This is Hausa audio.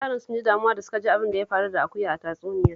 Yaran sun ji damuwa da suka ji abin da ya faru da akuya a tatsuniyar